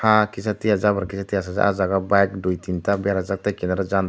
ah kisatia jabra kisatia se o jaga bo bike dui tinta berajak tei kinaro jandar.